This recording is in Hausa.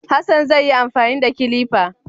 Hassan zai yi amfani da kilifa